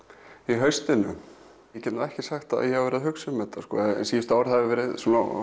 í haustinu ég get ekki sagt að ég hafi verið að hugsa um þetta síðustu ár hefur verið